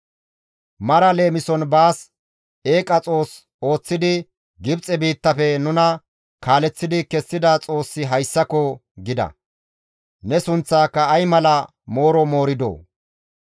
Mara leemison baas eeqa xoos ooththidi, ‹Gibxe biittafe nuna kaaleththidi kessida Xoossi hayssako!› gida. Ne sunththaaka ay mala mooro mooridoo!